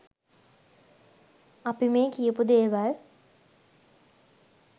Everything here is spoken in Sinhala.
අපි මේ කියපු දේවල්